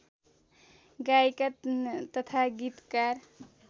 गायिका तथा गीतकार